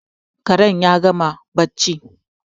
Karen ya gama barci